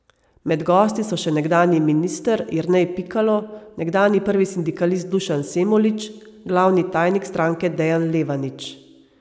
Med gosti so še nekdanji minister Jernej Pikalo, nekdanji prvi sindikalist Dušan Semolič, glavni tajnik stranke Dejan Levanič.